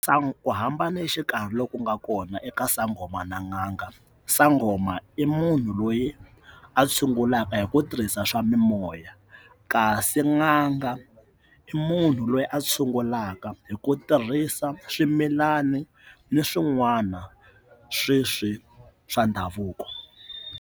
ku hambana exikarhi loku nga kona eka sangoma n'anga sangoma i munhu loyi a tshungulaka hi ku tirhisa swa mimoya kasi n'anga i munhu loyi a tshungulaka hi ku tirhisa swimilani ni swin'wana sweswi swa ndhavuko.